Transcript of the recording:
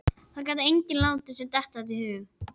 Það gat enginn látið sér detta það í hug.